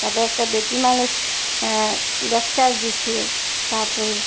তারপর একটা বেটি মানুষ আঃ লেকচার দিচ্ছে তারপর--